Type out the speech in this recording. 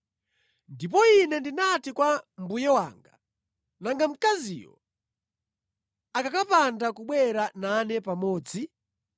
“Ndipo ine ndinati kwa mbuye wanga, ‘Nanga mkaziyo akakapanda kubwera nane pamodzi?’